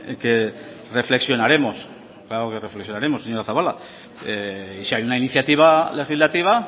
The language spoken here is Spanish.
que reflexionaremos claro que reflexionaremos señora zabala si hay una iniciativa legislativa